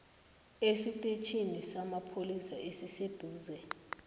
esitetjhini samapholisa esiseduze